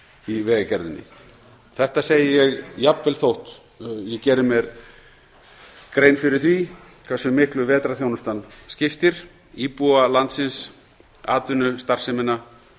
í vegagerðinni þetta segi ég jafnvel þótt ég geri mér grein fyrir því hversu miklu vetrarþjónustan skiptir íbúa landsins atvinnustarfsemina